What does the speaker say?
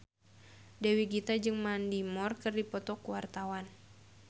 Dewi Gita jeung Mandy Moore keur dipoto ku wartawan